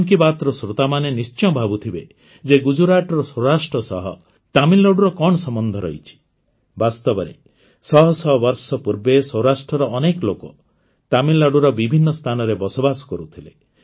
ମନ୍ କି ବାତ୍ର ଶ୍ରୋତାମାନେ ନିଶ୍ଚୟ ଭାବୁଥିବେ ଯେ ଗୁଜରାଟର ସ୍ୱରାଷ୍ଟ୍ର ସହ ତାମିଲନାଡ଼ୁର କଣ ସମ୍ବନ୍ଧ ରହିଛି ବାସ୍ତବରେ ଶହ ଶହ ବର୍ଷ ପୂର୍ବେ ସୌରାଷ୍ଟ୍ରର ଅନେକ ଲୋକ ତାମିଲନାଡ଼ୁର ବିଭିନ୍ନ ସ୍ଥାନରେ ବସବାସ କରୁଥିଲେ